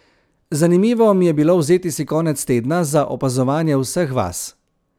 Zanimivo mi je bilo vzeti si konec tedna za opazovanje vseh vas.